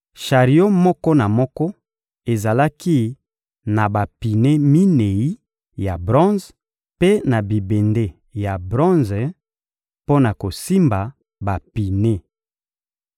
Shario moko na moko ezalaki na bapine minei ya bronze mpe na bibende ya bronze mpo na kosimba bapine.